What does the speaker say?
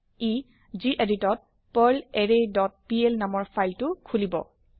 ই গেদিত ত পাৰ্লাৰৰে ডট পিএল নামৰ ফাইল এটা খুলিব